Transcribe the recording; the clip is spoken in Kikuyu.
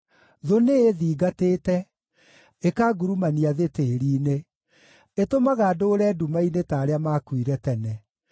Thũ nĩĩthingatĩte, ĩkangurumania thĩ tĩĩri-inĩ; ĩtũmaga ndũũre nduma-inĩ ta arĩa maakuire tene.